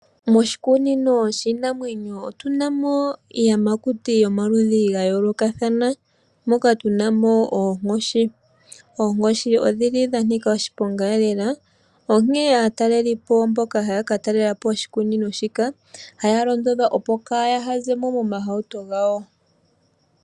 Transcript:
Moshikunino shiinamwenyo otuna mo iiyamakuti yomaludhi gayoolokathana. Moka tunamo oonkoshi . Oonkoshi odhili dhanika oshipongaelela, onkene aatalelipo mboka haya ka talelapo oshikunino shika , ohaya londodhwa opo kaaya zemo momahauto gawo.